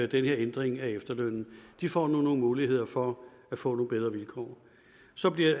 den her ændring af efterlønnen de får nu nogle muligheder for at få nogle bedre vilkår så